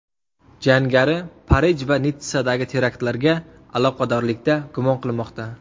Jangari Parij va Nitssadagi teraktlarga aloqadorlikda gumon qilinmoqda.